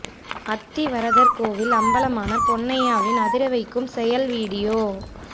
அத்தி வரதர் கோவில் அம்பலமான பொன்னையாவின் அதிர வைக்கும் செயல் வீடியோ